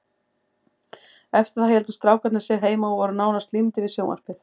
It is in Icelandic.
Eftir það héldu strákarnir sig heima og voru nánast límdir við sjónvarpið.